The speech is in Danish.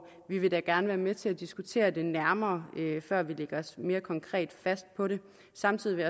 vi vil gerne være med til at diskutere det nærmere før vi lægger os mere konkret fast på det samtidig vil